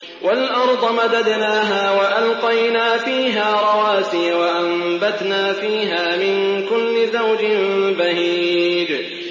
وَالْأَرْضَ مَدَدْنَاهَا وَأَلْقَيْنَا فِيهَا رَوَاسِيَ وَأَنبَتْنَا فِيهَا مِن كُلِّ زَوْجٍ بَهِيجٍ